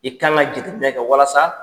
I kan ka jate minɛ kɛ walasa